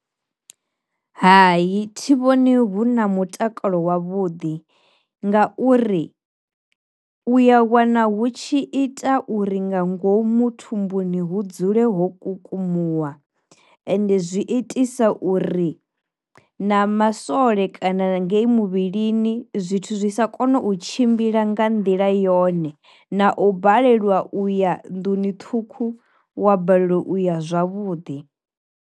Hai thi vhoni hu na mutakalo wavhuḓi nga uri uya wana hu tshi ita uri nga ngomu thumbuni hu dzule ho kukumuwa ende zwi itisa uri na masole kana ngei muvhilini zwithu zwi sa kona u tshimbila nga nḓila yone na u baleliwa uya nḓuni ṱhukhu wa balelwa uya zwavhuḓi.